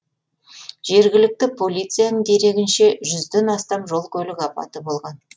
жергілікті полицияның дерегінше жүзден астам жол көлік апаты болған